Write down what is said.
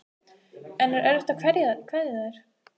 En er erfitt að kveðja þær?